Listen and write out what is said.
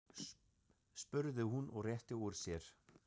spurði hún og rétti úr sér.